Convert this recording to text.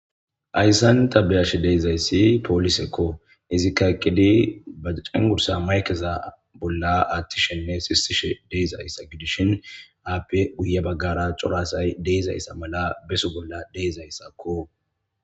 Hayssan ta be7ashe dizayssi polisekko. Ezikka eqqidi ba cengurssa maykkeza bolla aatishenne sisishe de7izayssa gidishin, appe guyye bagara cora asay de7izayssa mala besso bolla de7izayssakko.